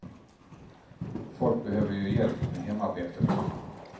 Folk behöver ju hjälp med hemarbetet.